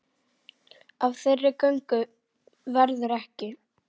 Af þeirri göngu verður ekki.